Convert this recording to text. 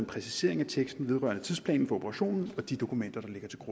præcisering af teksten vedrørende tidsplanen for operationen og de dokumenter